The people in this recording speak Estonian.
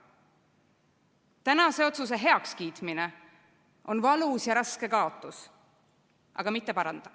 Tänase otsuse heakskiitmine on valus ja raske kaotus.